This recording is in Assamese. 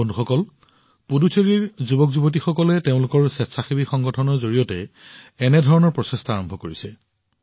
বন্ধুসকল পুডুচেৰীৰ যুৱকযুৱতীসকলে তেওঁলোকৰ স্বেচ্ছাসেৱী সংগঠনৰ জৰিয়তে একে ধৰণৰ প্ৰচেষ্টা আৰম্ভ কৰিছে